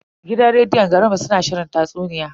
Gidan rediyon garin mu suna shirin tatsuniya.